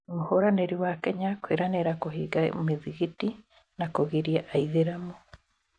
Mũhũranĩri wa Kenya kũĩranĩra kũhinga mĩthikiti na kũgiria aithĩramu